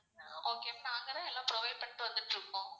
okay ma'am நாங்க தான் எல்லாம் provide பண்ணிட்டு வந்துட்டு இருக்கோம்.